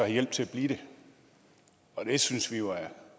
hjælp til at blive det og det synes vi jo er